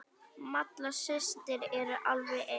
Malla systir eru alveg eins.